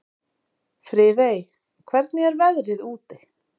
Friðey, hvernig er veðrið úti?